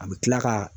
A bɛ kila ka